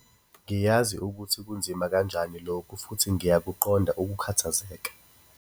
Ngiyazi ukuthi kunzima kanjani lokhu futhi ngiyakuqonda ukukhathazeka.